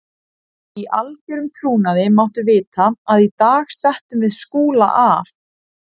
Í algerum trúnaði máttu vita að í dag settum við Skúla af.